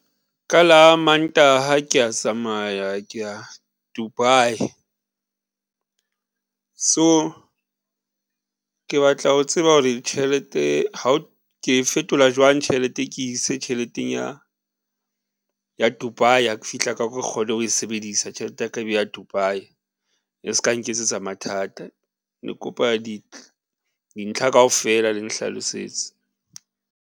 Ka la Mantaha kea tsamaya kea Dubai. So ke batla ho tseba hore tjhelete ke e fetola jwang tjhelete ke ise tjheleteng ya Dubai, ha ke fihla ka kwa ke kgone ho e sebedisa tjhelete ya ka e be ya Dubai. Le s'ka nketsetsa mathata ne kopa dintlha kaofela le nhlalosetse.